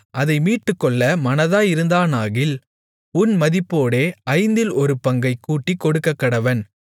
அதை மீட்டுக்கொள்ள மனதாயிருந்தானாகில் உன் மதிப்போடே ஐந்தில் ஒரு பங்கைக் கூட்டிக் கொடுக்கக்கடவன்